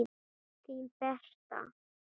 Þín Berta.